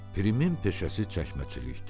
Frimin peşəsi çəkməçilikdir.